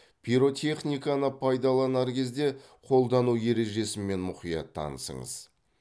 пиротехниканы пайдаланар кезде қолдану ережесімен мұқият танысыңыз